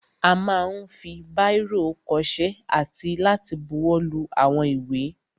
A ma ń fi báìrò kọṣẹ́ àti láti buwọ́lu àwọn ìwé.